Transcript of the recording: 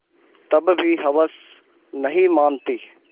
तब भी हवस नहीं मानती